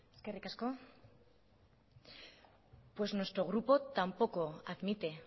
eskerrik asko pues nuestro grupo tampoco admite